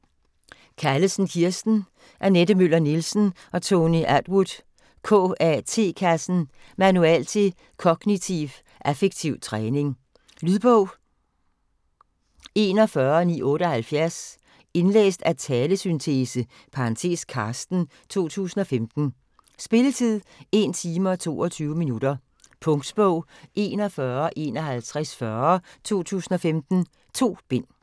Callesen, Kirsten, Annette Møller Nielsen, Tony Attwood: KAT-kassen Manual til Kognitiv Affektiv Træning. Lydbog 41978 Indlæst af talesyntese (Carsten), 2015. Spilletid: 1 time, 22 minutter. Punktbog 415140 2015. 2 bind.